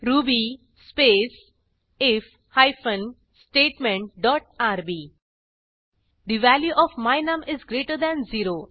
ruby space IF hyphen statement dot RB the value of my num is greater than 0